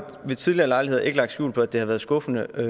ved tidligere lejligheder ikke lagt skjul på at det har været skuffende at